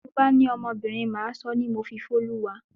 Tí mo bá ní ọmọbìnrin, Màá sọ ọ́ ni Mofifoluwa.